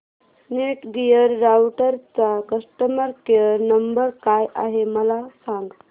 Netgear राउटरचा customer care number काय आहे मला सांग